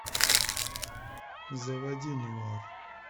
заводи нуар